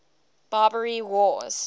barbary wars